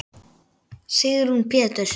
Sigrún Péturs.